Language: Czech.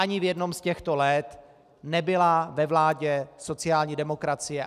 Ani v jednom z těchto let nebyla ve vládě sociální demokracie.